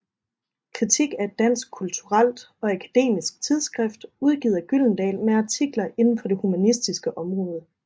Kritik er et dansk kulturelt og akademisk tidsskrift udgivet af Gyldendal med artikler inden for det humanistiske område